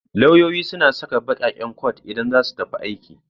Lauyoyi suna saka baƙaƙen kwat idan za su tafi aiki